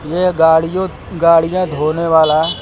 यह गाड़ियों गाड़ियां धोने वाला--